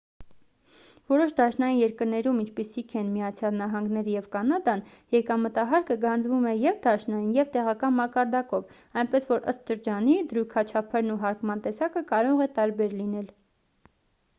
որոշ դաշնային երկրներում ինչպիսիք են միացյալ նահանգները և կանադան եկամտահարկը գանձվում է և դաշնային և տեղական մակարդակով այնպես որ ըստ շրջանի դրույքաչափերն ու հարկման տեսակը կարող է տարբեր լինել